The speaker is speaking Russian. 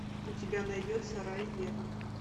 у тебя найдется рай вера